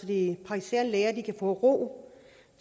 de praktiserende læger kan få ro